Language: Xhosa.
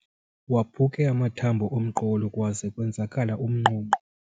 Waphuke amathambo omqolo kwaze kwenzakala umnqonqo.